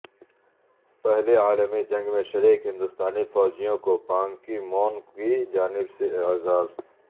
پہلی عالمی جنگ میں شریک ہندوستانی فوجیوں کو بانکی مون کی جانب سے اعزاز